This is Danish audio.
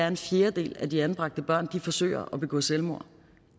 en fjerdedel af de anbragte børn forsøger at begå selvmord